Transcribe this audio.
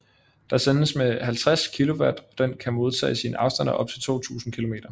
Der sendes med 50 kW og den kan modtages i en afstand af op til 2000 km